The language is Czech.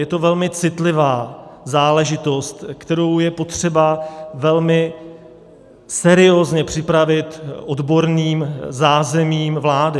Je to velmi citlivá záležitost, kterou je potřeba velmi seriózně připravit odborným zázemím vlády.